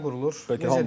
Komanda yenidən qurulur.